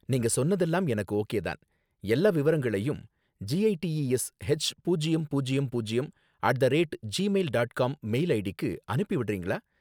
நீங்க சொன்னதெல்லாம் எனக்கு ஓகே தான், எல்லா விவரங்களையும் G I T E S H பூஜ்யம் பூஜ்யம் பூஜ்யம் at the rate Gmail dot com mail ஐடிக்கு அனுப்பி விடுறீங்களா